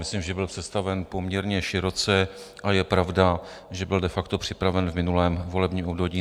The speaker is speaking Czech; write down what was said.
Myslím, že byl představen poměrně široce a je pravda, že byl de facto připraven v minulém volebním období.